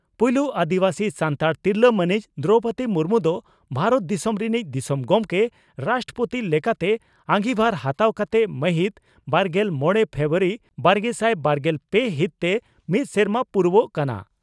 ᱯᱩᱭᱞᱩ ᱟᱹᱫᱤᱵᱟᱹᱥᱤ ᱥᱟᱱᱛᱟᱲ ᱛᱤᱨᱞᱟᱹ ᱢᱟᱹᱱᱤᱡ ᱫᱨᱚᱣᱯᱚᱫᱤ ᱢᱩᱨᱢᱩ ᱫᱚ ᱵᱷᱟᱨᱚᱛ ᱫᱤᱥᱚᱢ ᱨᱤᱱᱤᱡ ᱫᱤᱥᱚᱢ ᱜᱚᱢᱠᱮ (ᱨᱟᱥᱴᱨᱚᱯᱳᱛᱤ) ᱞᱮᱠᱟᱛᱮ ᱟᱸᱜᱤᱵᱷᱟᱨ ᱦᱟᱛᱟᱣ ᱠᱟᱛᱮ ᱢᱟᱹᱦᱤᱛ ᱵᱟᱨᱜᱮᱞ ᱢᱚᱲᱮ ᱯᱷᱮᱵᱨᱩᱣᱟᱨᱤ ᱵᱟᱨᱜᱮᱥᱟᱭ ᱵᱟᱨᱜᱮᱞ ᱯᱮ ᱦᱤᱛ ᱛᱮ ᱢᱤᱫ ᱥᱮᱨᱢᱟ ᱯᱩᱨᱟᱣᱜ ᱠᱟᱱᱟ ᱾